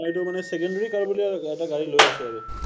এইটো মানে secondary কৰোঁ বুলিয়েই এটা গাড়ী লৈ আছো আৰু।।